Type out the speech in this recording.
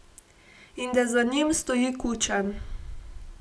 In da za njim stoji Kučan.